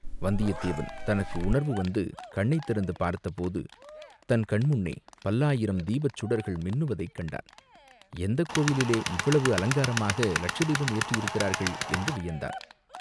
வந்தியத்தேவன் தனக்கு உணர்வு வந்து கண்ணைத் திறந்து பார்த்தபோது, தன் கண்முன்னே பல்லாயிரம் தீபச் சுடர்கள் மின்னுவதைக் கண்டான், எந்தக் கோவிலிலே இவ்வளவு அலங்காரமாக லட்சதீபம் ஏற்றியிருக்கிறார்கள் என்று வியந்தான்.